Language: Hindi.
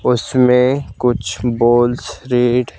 उसमें कुछ बोल --